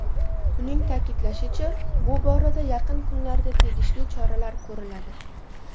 Uning ta’kidlashicha, bu borada yaqin kunlarda tegishli choralar ko‘riladi.